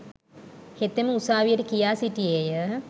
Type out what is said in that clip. හෙතෙම උසාවියට කියා සිටියේය.